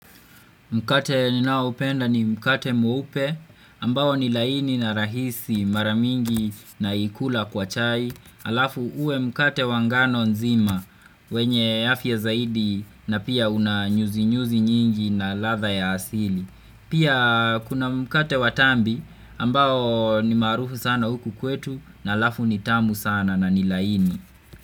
Mkate ninaoupenda ni mkate mweupe, ambao ni laini na rahisi. Mara mingi naula kwa chai, alafu uwe mkate wa ngano nzima. Wenye afya zaidi na pia una nyuzi nyuzi nyingi na ladha ya asili. Pia kuna mkate wa tambi ambao ni maarufu sana huku kwetu, na alafu nitamu sana na ni laini.